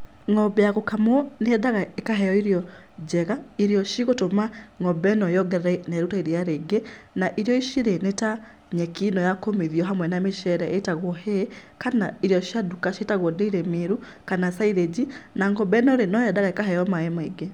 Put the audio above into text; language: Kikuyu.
Ng'ombe ya gũkamwo nĩyendaga ĩkaheo irio njega, irio cigũtũma ng'ombe ĩno yongerere iria na ĩrute iria rĩingi na irio ici rĩ, nĩ ta nyeki ĩno ya kũmithio hamwe na mĩceere ĩtagwo hay kana irio cia nduka ciĩtagwo Dairy Meal kana silage na ng'ombe ĩno rĩ, no yendaga ĩkaheo maaĩ maingĩ.